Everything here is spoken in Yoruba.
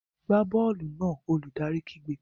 Gbá bọ́ọ̀lù náà! Olùdarí kígbe.